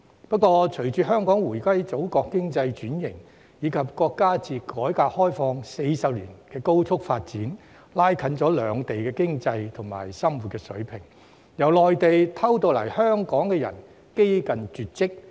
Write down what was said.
不過，隨着香港回歸祖國，經濟轉型，以及國家自改革開放40年來的高速發展，拉近兩地經濟及生活水平，由內地偷渡來港的人幾近絕跡。